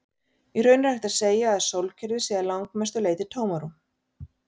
Í raun er hægt að segja að sólkerfið sé að langmestu leyti tómarúm.